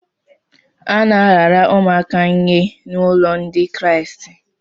A na-arara ụmụaka nye n’ụlọ Ndị Kraịst.